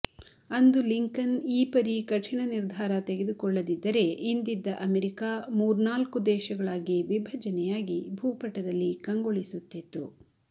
ಅಂದು ಲಿಂಕನ್ ಈ ಪರಿ ಕಠಿಣ ನಿರ್ಧಾರ ತೆಗೆದು ಕೊಳ್ಳದಿದ್ದರೆ ಇಂದಿದ್ದ ಅಮೆರಿಕ ಮೂರ್ನಾಲ್ಕು ದೇಶಗಳಾಗಿ ವಿಭಜನೆಯಾಗಿ ಭೂಪಟದಲ್ಲಿ ಕಂಗೊಳಿಸುತ್ತಿತ್ತು